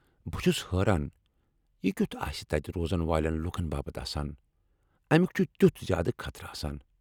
بہٕ چُھس حٲران یہِ كِیٚتھ آسہِ تتہِ روزن والین لوٗكن باپت آسان ، امیك چُھ تِیُتھ زیادٕ خطرٕ !